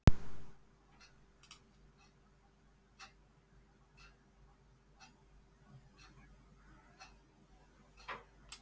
Ég hélt að þú hefðir gefist upp með auðmýkt í hjarta.